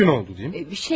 Bununla üç gün oldu deyim.